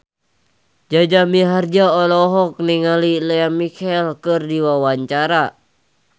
Jaja Mihardja olohok ningali Lea Michele keur diwawancara